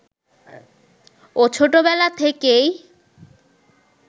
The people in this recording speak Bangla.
ও ছোটবেলা থেকেই